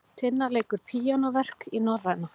Tinna leikur píanóverk í Norræna